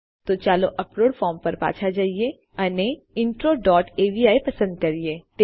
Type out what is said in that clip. તો ચાલો upload form પર પાછા જઈએ અને ઇન્ટ્રો ડોટ અવી પસંદ કરીએ